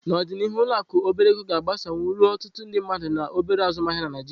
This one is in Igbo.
N'ọdịnihu, ụlọ akụ obere ego ga-agbasawanye ruo ọtụtụ ndị mmadụ na obere azụmaahịa na Naijiria.